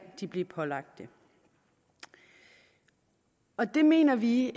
blive pålagt det og det mener vi